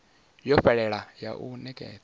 yo fhelelaho ya u nekedza